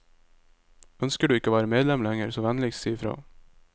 Ønsker du ikke å være medlem lenger så vennligst si i fra.